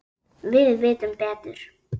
Við vitum betur